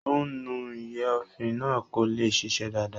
Ó ún nu ìyọ̀èéfín náà kó lè ṣiṣẹ́ dáadáa